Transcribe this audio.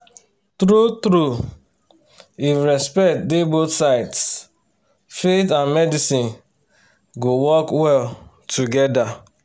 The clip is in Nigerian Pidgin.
true-true if respect dey both sides faith and medicine go work well together